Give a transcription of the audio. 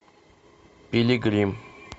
пилигрим